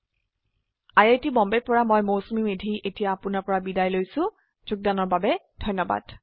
I I T Bombay ৰ পৰা মই মৌচুমী মেধী এতিয়া আপুনাৰ পৰা বিদায় লৈছো যোগদানৰ বাবে ধন্যবাদ